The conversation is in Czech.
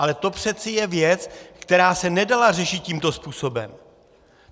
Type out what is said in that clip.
Ale to přece je věc, která se nedala řešit tímto způsobem.